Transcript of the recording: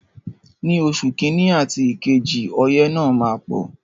Ní oṣù kiní àti kejì ọyẹ́ náà máa pọ̀.